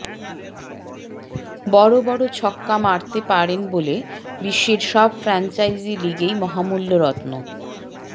বড় বড় ছক্কা মারতে পারেন বলে বিশ্বের সব ফ্র্যাঞ্চাইজি লিগেই মহামূল্য রত্ন